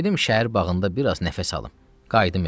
Gedim şəhər bağında bir az nəfəs alım, qayıdım evə.